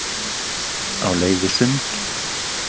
Á leið í sund